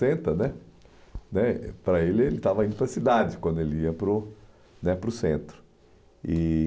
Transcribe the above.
né né Para ele, ele estava indo para a cidade, quando ele ia para o né para o centro. E...